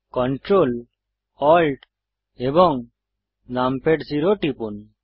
control Alt এবং num pad zero টিপুন